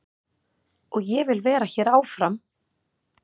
Og ég vil vera hér áfram.